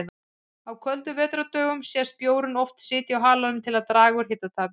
Á köldum vetrardögum sést bjórinn oft sitja á halanum til að draga úr hitatapi.